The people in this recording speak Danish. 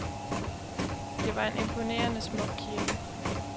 Det var en imponerende smuk kirke.